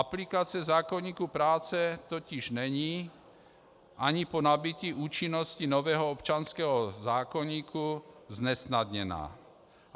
Aplikace zákoníku práce totiž není ani po nabytí účinnosti nového občanského zákoníku znesnadněna.